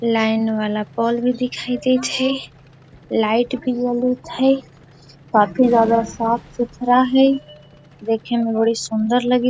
line वाला pole भी दिखाई देत हेय लाइट भी जलित हेय काफी ज्यादा साफ-सुथरा हेय देखेमें बड़ी सुन्दर लगित --